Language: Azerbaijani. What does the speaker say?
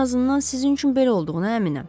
Ən azından sizin üçün belə olduğuna əminəm.